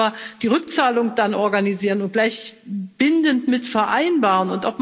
Wir müssen dann aber die Rückzahlung organisieren und gleich bindend mit vereinbaren.